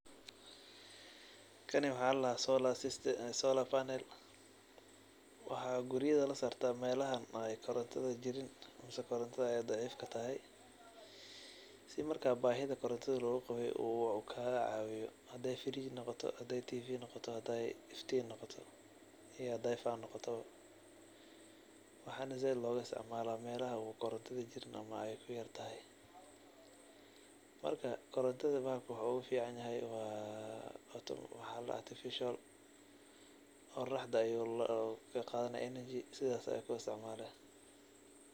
Kani waxa ladaha solar funnel waxa lagaisiticmala melahan oo korontada ey jirin sii marka bahida koronta loqaway uu kagacawiyo hadey firij noqoto hadey tv noqoto hadey inftin iyo fan noqoto waxana said logaisticmala melaha ey korontada jirin ama ey kuyartahay marka korontada bahalka wuxu ogaficanyahay wa artificial qoroxda ayu kaqadani enargy.